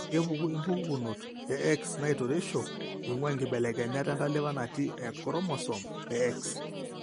kepuku impukukunot e X naitoreisho eing'ua inkibelekenyat entalipa natii enchromosome e X.